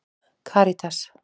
Karítas